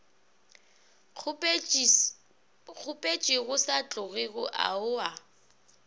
kgopetšego sa tlogego ao a